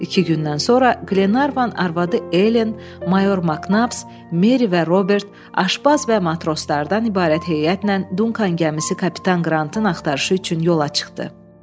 İki gündən sonra Glenarvan arvadı Elen, mayor Maknap, Meri və Robert, Aşbaz və matroslardan ibarət heyətlə Dunkan gəmisi Kapitan Qrantın axtarışı üçün yola çıxdı.